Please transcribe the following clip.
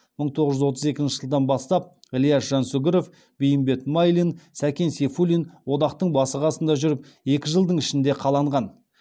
мың тоғыз жүз отыз екінші жылдан бастап ілияс жансүгіров бейімбет майлин сәкен сейфуллин одақтың басы қасында жүріп екі жылдың ішінде қаланған